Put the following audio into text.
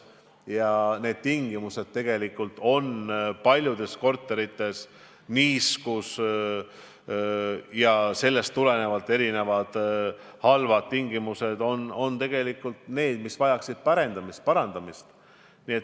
Ja paljudes korterites on halvad tingimused – niiskus jms – ning sellest tulenevalt vajavad need parendamist.